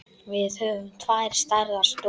Við höfum tvær stærðar stofur.